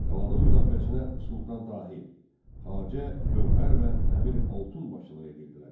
Qalanın müdafiəsinə Sultan Tahir, Xacə Gəvhər və Əmir Altun başçılıq edirdilər.